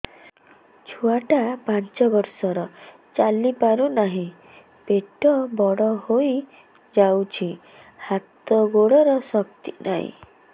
ଛୁଆଟା ପାଞ୍ଚ ବର୍ଷର ଚାଲି ପାରୁନାହଁ ପେଟ ବଡ ହୋଇ ଯାଉଛି ହାତ ଗୋଡ଼ର ଶକ୍ତି ନାହିଁ